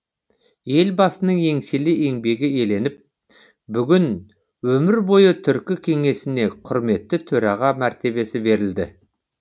елбасының еңселі еңбегі еленіп бүгін өмір бойы түркі кеңесіне құрметті төраға мәртебесі берілді